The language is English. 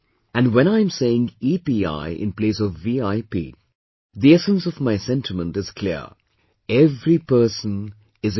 And when I'm saying EPI in place of VIP, the essence of my sentiment is clear every person is important